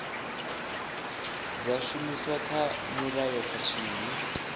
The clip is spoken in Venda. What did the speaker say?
dza shumiswa kha mulayo khathihi